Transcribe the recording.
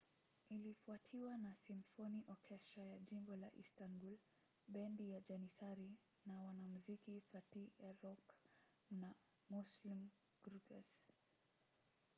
ilifuatiwa na simfoni okestra ya jimbo la istanbul bendi ya janissary na wanamuziki fatih erkoç and müslüm gürses